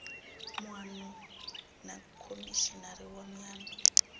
muano na khomishinari wa miano